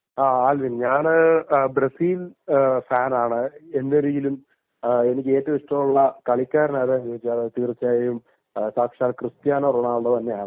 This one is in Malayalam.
ആൽവിൻ ഞാൻ ബ്രസീൽ ഫാൻ ആണ്. എന്നിരിക്കിലും എനിക്കിഷ്ട്ടമുള്ള കളിക്കാരനാണ് എന്ന് ചോദിച്ചാൽ തീർച്ചയായും ക്രിസ്റ്റ്യാനോ റൊണാൾഡോ തന്നെയാണ്